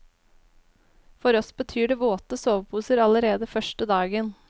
For oss betyr det våte soveposer allerede første dagen.